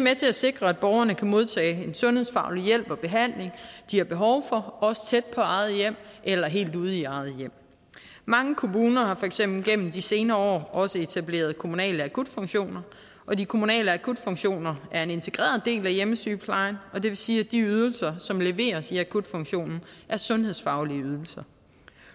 med til at sikre at borgerne kan modtage en sundhedsfaglig hjælp og behandling de har behov for også tæt på eget hjem eller helt ude i eget hjem mange kommuner har for eksempel gennem de senere år også etableret kommunale akutfunktioner og de kommunale akutfunktioner er en integreret del af hjemmesygeplejen og det vil sige at de ydelser som leveres i akutfunktionen er sundhedsfaglige ydelser